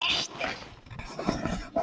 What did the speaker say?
Esther